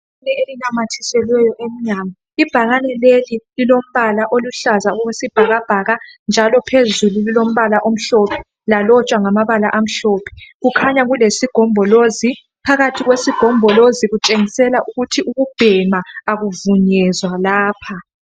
Ibhakane elinanyathiselwe emnyango ibhakane leli lilombala oluhlaza okwesibhakabhaka njalo phezulu lilombala omhlophe lalotshwa ngamabala amhlophe kukhanya kulesigombolozi phakathi kwesigombolozi kutshengisela ukuthi ukubhema akuvunyelwa lapha.